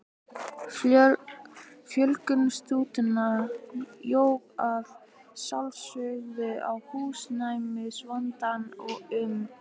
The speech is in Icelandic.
Fjölgun stúdenta jók að sjálfsögðu á húsnæðisvandann og um